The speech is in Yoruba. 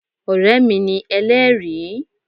Ọ̀rẹ́ mi ni Elẹ́ẹ̀rí